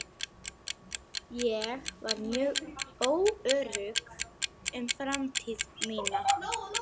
Ég var mjög óörugg um framtíð mína.